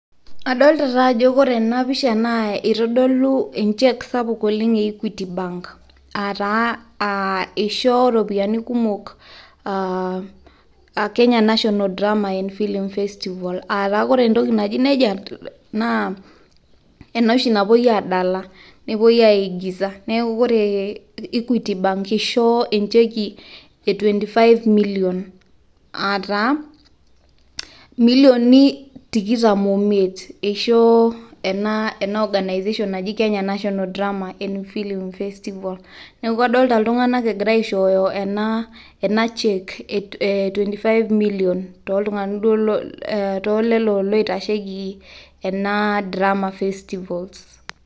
adoolta ajo ore ana pisha, itodolu e cheque sapuk oleng e equity bank aa taa eisho taa iropiyiani kumok kenya national drama feeling festival aa taa ore entoki naji nejia naa ena oshi napuoi aadala, nepuoi aigiza. neeku ore equity bank eishoo encheki e twenty five million aa taa milioni tikitam oimiet eishoo ena organization naji kenya national drama feeling festival neeku adoota iltunganak egira aishooyo ena [cheque e twenty five million too lelo loitasheki ena drama festivals.